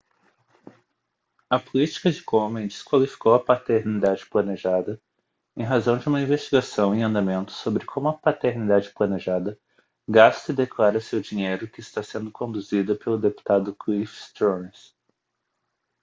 a política de komen desqualificou a paternidade planejada em razão de uma investigação em andamento sobre como a paternidade planejada gasta e declara seu dinheiro que está sendo conduzida pelo deputado cliff stearns